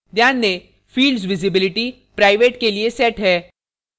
ध्यान दें fields visibility private के लिए set है